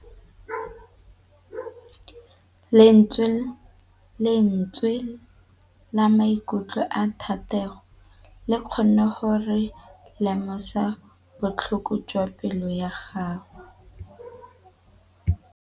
Lentswe la maikutlo a Thategô le kgonne gore re lemosa botlhoko jwa pelô ya gagwe.